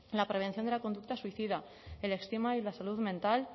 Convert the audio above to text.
la prevención de la conducta suicida el estigma y la salud mental